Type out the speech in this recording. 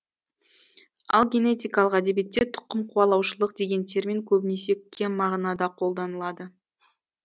ал генетикалық әдебиетте тұқым қуалаушылық деген термин көбінесе кем мағынада қолданылады